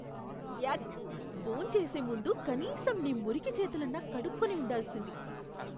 యాక్! భోంచేసే ముందు కనీసం నీ మురికి చేతులన్నా కడుక్కుని ఉండాల్సింది.